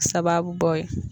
Sababu bɔ ye.